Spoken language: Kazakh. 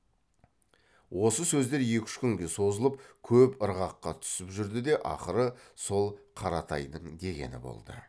осы сөздер екі үш күнге созылып көп ырғаққа түсіп жүрді де ақыры сол қаратайдың дегені болды